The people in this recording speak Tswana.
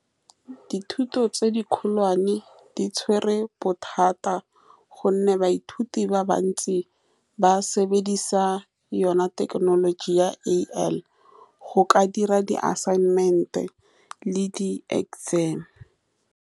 Dithuto tse di kgolwane di tshwere bothata, ka gonne baithuti ba bantsi ba sebedisa yone thekenoloji ya A_I, go ka dira di assignment-e le di-exam.